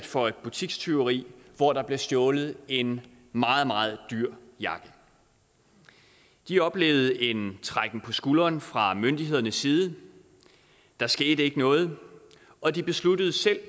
for et butikstyveri hvor der blev stjålet en meget meget dyr jakke de oplevede en trækken på skuldrene fra myndighedernes side der skete ikke noget og de besluttede selv at